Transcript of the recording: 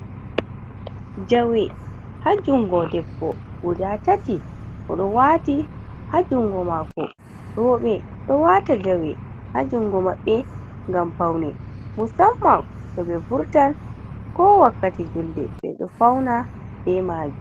Jawe ha jungo debbo guda tati o ɗo wati ha jungo mako. Roobe ɗo wata jawe hajungo mabbe ngam paune musamman to ɓe wurtan ko wakkati julde. Ɓe ɗo fauna be majum.